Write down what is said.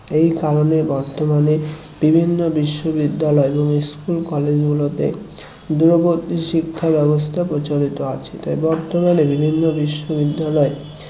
এই কারণে বর্তমানে বিভিন্ন বিশ্ববিদ্যালয় এবং school college গুলোতে দূরবর্তী শিক্ষা ব্যবস্থা প্রচলিত আছে তাই বর্তমানে বিভিন্ন বিশ্ববিদ্যালয় এ